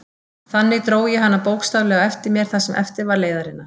Þannig dró ég hana bókstaflega á eftir mér það sem eftir var leiðarinnar.